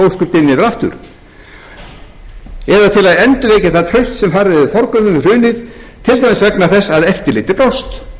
yfir aftur eða til að endurvekja það traust sem farið hefur forgörðum við hrunið til dæmis vegna þess að eftirlitið brást